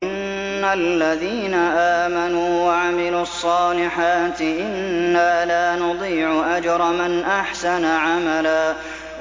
إِنَّ الَّذِينَ آمَنُوا وَعَمِلُوا الصَّالِحَاتِ إِنَّا لَا نُضِيعُ أَجْرَ مَنْ أَحْسَنَ عَمَلًا